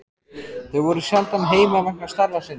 Þau voru sjaldan heima vegna starfa sinna.